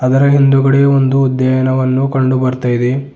ಅದರ ಹಿಂದುಗಡೆ ಒಂದು ಉದ್ಯಯನವನ್ನು ಕಂಡು ಬರ್ತಾ ಇದೆ.